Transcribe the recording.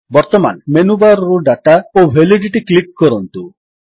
ବର୍ତ୍ତମାନ ମେନୁବାର୍ ରୁ ଦାତା ଓ ଭାଲିଡିଟି କ୍ଲିକ୍ କରନ୍ତୁ